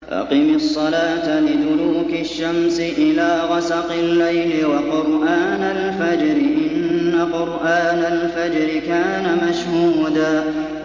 أَقِمِ الصَّلَاةَ لِدُلُوكِ الشَّمْسِ إِلَىٰ غَسَقِ اللَّيْلِ وَقُرْآنَ الْفَجْرِ ۖ إِنَّ قُرْآنَ الْفَجْرِ كَانَ مَشْهُودًا